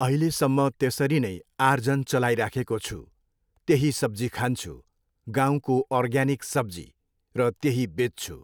अहिलेसम्म त्यसरी नै आर्जन चलाइराखेको छु, त्यही सब्जी खान्छु, गाउँको अर्ग्यानिक सब्जी, र त्यही बेच्छु।